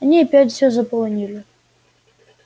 они опять все заполонили